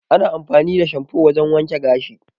Ana amfani da shanfo wajan wanke gashi